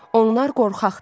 Onlar qorxaqdır.